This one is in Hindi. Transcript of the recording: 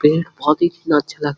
पेड़-पौधे कितना अच्छा लग --